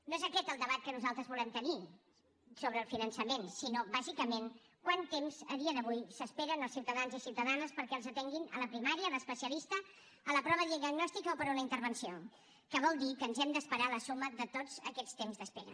no és aquest el debat que nosaltres volem tenir sobre el finançament sinó bàsicament quant temps a dia d’avui s’esperen els ciutadans i ciutadanes perquè els atenguin a la primària a l’especialista a la prova diagnòstica o per a una intervenció que vol dir que ens hem d’esperar la suma de tots aquests temps d’espera